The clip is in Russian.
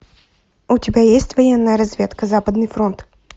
у тебя есть военная разведка западный фронт